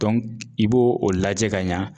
i b'o o lajɛ ka ɲɛ